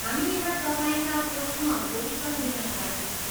हामी यहाँ तपाईँका प्रश्नहरूको उत्तर दिनका लागि छौँ।